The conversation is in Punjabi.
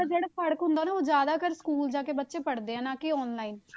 ਜਿਹੜਾ ਹੁੰਦਾ ਉਹ ਜ਼ਿਆਦਾ ਕਰ school ਜਾ ਕੇ ਬੱਚੇ ਪੜ੍ਹਦੇ ਆ ਨਾ ਕੇ online